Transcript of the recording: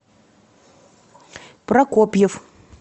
прокопьев